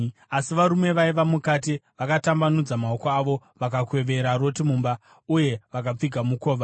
Asi varume vaiva mukati vakatambanudza maoko avo vakakwevera Roti mumba uye vakapfiga mukova.